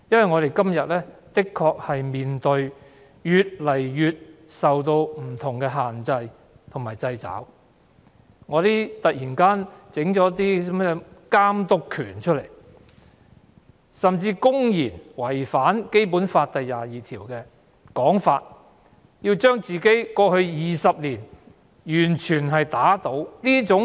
我們目前的確面對越來越多不同的限制和掣肘，例如中聯辦突然提出監督權，甚至"林鄭"政府竟然牽頭，公然違反《基本法》第二十二條，要打倒過去20多年的自己。